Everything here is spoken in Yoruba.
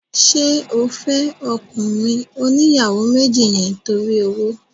Ṣé o fẹ́ ọkùnrin oníyàwó méjì yẹn torí owó?